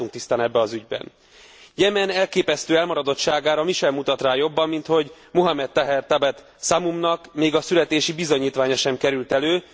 Nem látunk tisztán ebben az ügyben. Jemen elképesztő elmaradottságára mi sem mutat rá jobban, mint hogy Mohammed Taher Tabet Szamumnak még a születési bizonyítványa sem került elő.